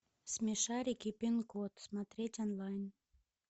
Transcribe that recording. смешарики пин код смотреть онлайн